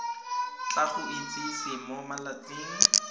tla go itsise mo malatsing